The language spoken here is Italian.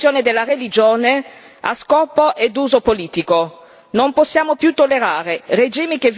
Usciamo dalla logica di strumentalizzazione della religione a scopo e uso politico.